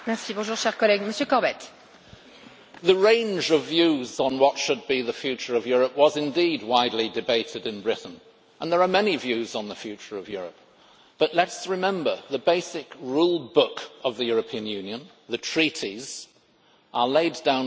The range of views on what should be the future of Europe was indeed widely debated in Britain and there are many views on the future of Europe, but let us remember the basic rule book of the European Union the Treaties are laid down by agreement among all the Member States.